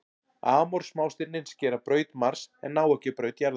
Amor smástirnin skera braut Mars en ná ekki að braut jarðar.